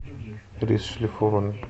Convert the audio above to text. рис шлифованный